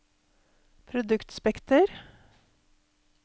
produktspekter